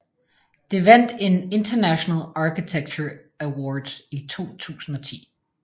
Det vandt en International Architecture Awards i 2010